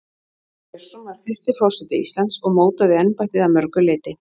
Sveinn Björnsson var fyrsti forseti Íslands og mótaði embættið að mörgu leyti.